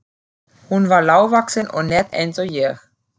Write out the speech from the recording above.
Hún var lágvaxin og nett eins og ég.